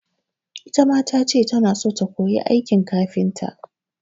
Ita ma ta ce tana so ta koyi aikin kafinta.